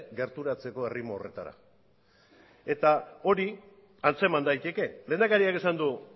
gerturatzeko erritmo horretara hori antzeman daiteke lehendakariak esan du